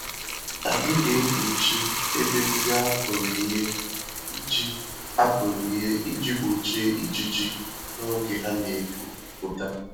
Anyị na-ekpuchi ebe ndị akụrụ ìhè iji akụrụ ìhè iji gbochie ijiji n'oge ha n'epu pụta